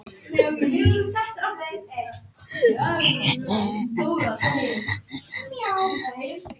Hnéð góða rís upp úr djúp